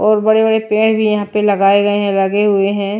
और बड़े-बड़े पेड़ भी यहां पर लगाए गए हैं लगे हुए हैं।